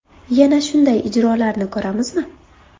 Yana shunday ijrolarni ko‘ramizmi?